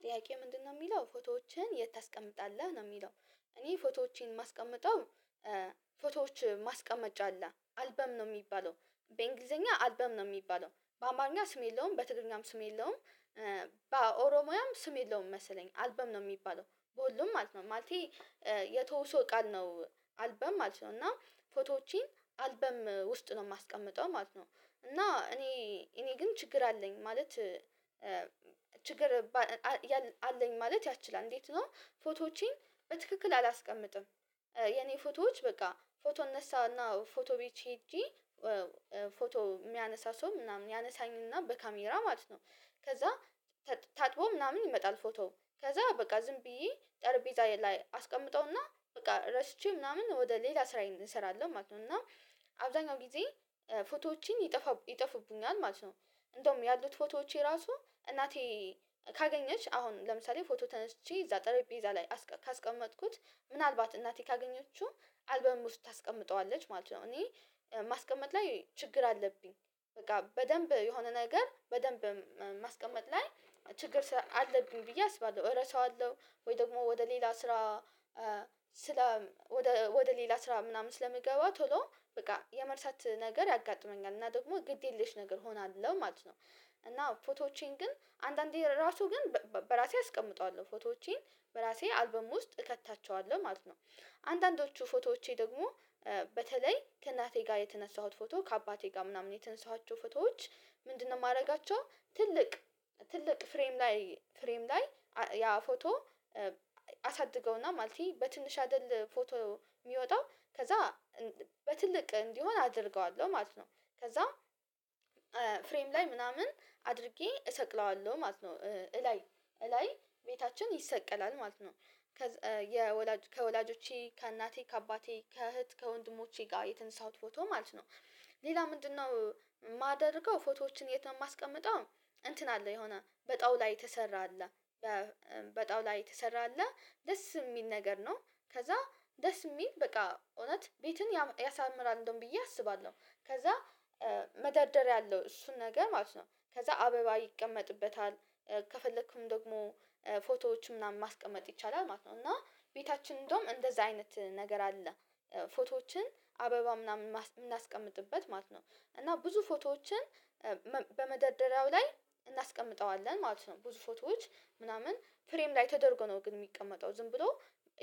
ጥያቄው ምንድነው የሚለው ፎቶዎችን የት ታስቀምጣለህ? ነው የሚለው እኔ ፎቶዎቼን የማስቀምጠው ፎቶዎች ማስቀመጫ አለ አልበም ነው የሚባለው በእንግሊዘኛ አልበም ነው የሚባለው በአማርኛ ስም የለውም በትግርኛም ስም የለውም በኦሮሞያም ስም የለውም መሰለኝ አልበም ነው የሚባለው በሁሉም ማለት ማለቴ የተውሶ ቃል ነው። አልበም ማለት ነው እና ፎቶዎቼን አልበም ውስጥ ነው የማስቀምጠው ማለት ነው እና እኔ እኔ ግን ችግር አለኝ ማለት ችግር አለኝ ማለት ያስችላል እንዴት ነው ፎቶዎቼን በትክክል አላስቀምጥም። የኔ ፎቶዎች በቃ ፎቶ እነሳና ፎቶ ቤት ሄጄ ፎቶ የሚያነሳ ሰው ምናምን ያነሳኝና በካሜራ ማለት ነው ከዛ ታጥቦ ምናምን ይመጣል ፎቶ ከዛ በቃ ዝም ብዬ ጠረቤዛዬ ላይ አስቀምጠውና በቃ ረስቼ ምናምን ወደ ሌላ ስራዬ እሰራለሁ ማለት ነው እና አብዛኛው ጊዜ ፎቶዎቼ ይጠፋ ይጠፉቡኛል ማለት ነው እንደውም ያሉት ፎቶዎቼ ራሱ እናቴ ካገኘች አሁን ለምሳሌ ፎቶ ተነስቼ እዛ ጠረጴዛ ላይ ካስቀመጥኩት ምናልባት እናቴ ካገኘችው አልበም ውስጥ ታስቀምጠዋለች ማለት ነው። እኔ ማስቀመጥ ላይ ችግር አለብኝ በቃ በደንብ የሆነ ነገር በደንብ ማስቀመጥ ላይ ችግር አለብኝ ብዬ አስባለሁ እረሳዋለሁ ወይ ደግሞ ወደ ሌላ ስራ ስለ ወደ ሌላ ስራ ምናምን ስለሚገባ ቶሎ በቃ የመርሳት ነገር ያጋጥመኛል እና ደግሞ ግድ የለሽ ነገር እሆናለሁ ማለት ነው። እና ፎቶዎቼን ግን አንዳንዴ ራሱ ግን በራሴ አስቀምጠዋለሁ ፎቶዎቼን በራሴ አልበም ውስጥ እከታቸዋለሁ ማለት ነው። አንዳንዶቹ ፎቶዎቼ ደግሞ በተለይ ከእናቴ ጋር የተነሳሁት ፎቶ ከአባቴ ጋር ምናምን የተነሳኋቸው ፎቶዎች ምንድነው የማደርጋቸው ትልቅ ትልቅ ፍሬም ላይ ፍሬም ላይ ያ ፎቶ አሳድገውና ማለት በትንሽ አይደል ፎቶ የሚወጣው ከዛ በትልቅ እንዲሆን አደርገዋለሁ ማለት ነው ከዛ ፍሬም ላይ ምናምን አድርጌ እሰቅለዋለሁ ማለት ነው እላይ እላይ ቤታችን ይሰቀላል ማለት ነው ከወላጆቼ፣ ከእናቴ፣ ከአባቴ፣ ከእህት፣ ከወንድሞቼ ጋር የተነሳሁት ፎቶ ማለት ነው። ሌላ ምንድነው የማደርገው ፎቶዎችን የማስቀምጠው እንትን አለ የሆነ በጣዉላ የተሰራ አለ በጣውላ የተሰራ አለ ደስ የሚል ነገር ነው ከዛ ደስ የሚል በቃ እውነት ቤትን ያሳምራል እንደውም ብዬ አስባለሁ ከዛ መደርደር አለው እሱን ነገር ማለት ነው ከዛ አበባ ይቀመጥበታል፣ ከፈለክም ደግሞ ፎቶዎች ምናምን ማስቀመጥ ይቻላል ማለት ነው እና ቤታችን እንደውም እንደዛ አይነት ነገር አለ ፎቶዎችን አበባ ምናምን የምናስቀምጥበት ማለት ነው እና ብዙ ፎቶዎችን በመደራደሪያው ላይ እናስቀምጠዋለን ማለት ነው። ብዙ ፎቶዎች ምናምን ፍሬም ላይ ተደርጎ ነው ግን የሚቀመጠው ዝም ብሎ